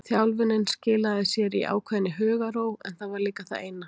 Þjálfunin skilaði sér í ákveðinni hugarró en það var líka það eina.